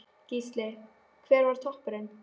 Gísli: Hver var toppurinn?